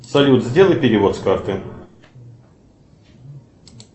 салют сделай перевод с карты